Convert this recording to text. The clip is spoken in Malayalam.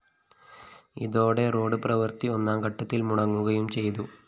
ഇതോടെ റോഡ്‌ പ്രവൃത്തി ഒന്നാംഘട്ടത്തില്‍ മുടങ്ങുകയും ചെയ്തു